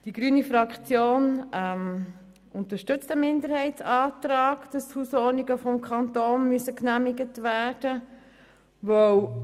Die grüne Fraktion unterstützt den Minderheitsantrag, der verlangt, dass die Hausordnungen durch den Kanton genehmigt werden müssen.